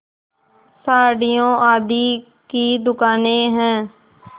साड़ियों आदि की दुकानें हैं